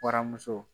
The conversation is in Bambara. Waramuso